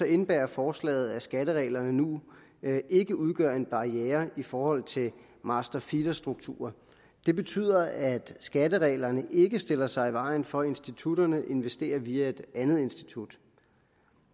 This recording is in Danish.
indebærer forslaget at skattereglerne nu ikke udgør en barriere i forhold til master feeder strukturer det betyder at skattereglerne ikke stiller sig i vejen for at institutterne investerer via et andet institut